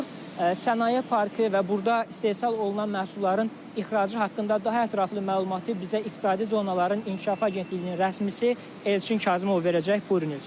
Sənaye Parkı və burda istehsal olunan məhsulların ixracı haqqında daha ətraflı məlumatı bizə İqtisadi Zonaların İnkişafı Agentliyinin rəsmisi Elçin Kazımov verəcək.